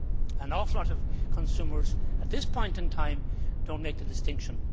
An awful lot of consumers at this point in time do not make the distinction.